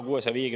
Hea minister!